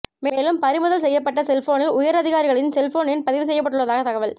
மேலும் பறிமுதல் செய்யப்பட்ட செல்போனில் உயரதிகாரிகளின் செல்போன் எண் பதிவு செய்யப்பட்டுள்ளதாக தகவல்